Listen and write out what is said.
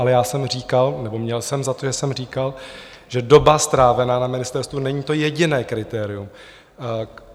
Ale já jsem říkal nebo měl jsem za to, že jsem říkal, že doba strávená na ministerstvu není to jediné kritérium.